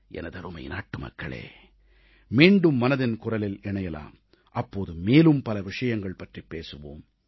எனதருமை நாட்டுமக்களே மீண்டும் மனதின் குரலில் இணையலாம் அப்போது மேலும் பல விஷயங்கள் பற்றிப் பேசுவோம்